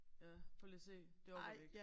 Ja prøv lige at se. Det orker vi ikke